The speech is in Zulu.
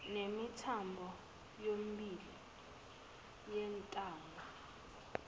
nemithambo yomibili yentamo